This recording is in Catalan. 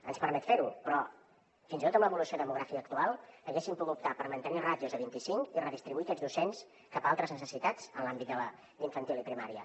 ens permet fer ho però fins i tot amb l’evolució demogràfica actual haguéssim pogut optar per mantenir ràtios a vint i cinc i redistribuir aquests docents cap a altres necessitats en l’àmbit de la d’infantil i primària